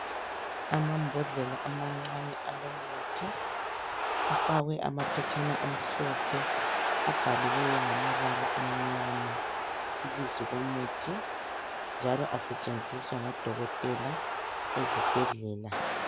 Amambodlela amancane alomuthi, afakwe amaphetshana amhlophe abhaliweyo ngamabala amnyama ibizo lomuthi. Njalo asetshenziswa ngodokotela ezibhedlela.